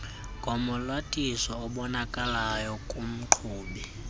ngomalathisi obonakalayo kumqhubi